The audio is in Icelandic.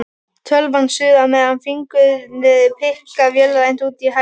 Tölvan suðar meðan fingurnir pikka vélrænt, úti hægist veðrið.